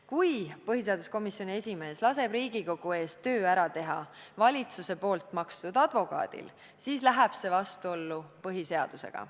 Kui põhiseaduskomisjoni esimees laseb Riigikogu eest töö ära teha valitsuse tasustatud advokaadil, siis läheb see vastuollu põhiseadusega.